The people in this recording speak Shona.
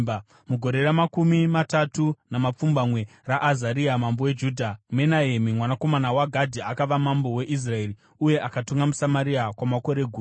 Mugore ramakumi matatu namapfumbamwe raAzaria mambo weJudha, Menahemi mwanakomana waGadhi akava mambo weIsraeri, uye akatonga muSamaria kwamakore gumi.